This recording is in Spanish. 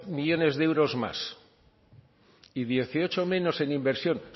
millónes de euros más y dieciocho menos en inversión